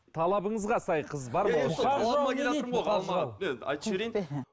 талабыңызға сай қыз айтып жіберейін